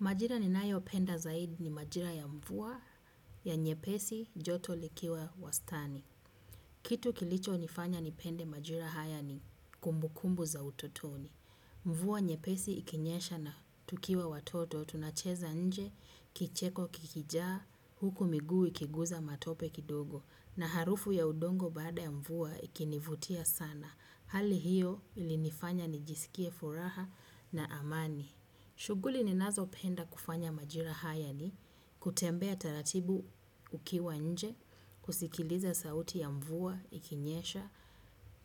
Majira ninayopenda zaidi ni majira ya mvua ya nyepesi joto likiwa wastani. Kitu kilichonifanya nipende majira haya ni kumbukumbu za utotoni. Mvua nyepesi ikinyesha na tukiwa watoto tunacheza nje kicheko kikijaa huku miguu ikiguza matope kidogo na harufu ya udongo baada ya mvua ikinivutia sana. Hali hiyo ilinifanya nijisikie furaha na amani. Shughuli ninazopenda kufanya majira haya ni kutembea taratibu ukiwa nje, kusikiliza sauti ya mvua, ikinyesha,